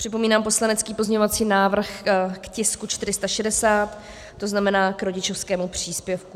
Připomínám poslanecký pozměňovací návrh k tisku 460, to znamená k rodičovskému příspěvku.